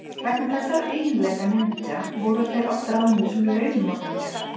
Vegna þessara eiginleika ninja voru þeir oft ráðnir sem launmorðingjar.